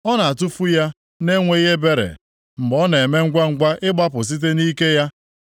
Ọ na-atụfu ya na-enweghị ebere mgbe ọ na-eme ngwangwa ịgbapụ site nʼike ya.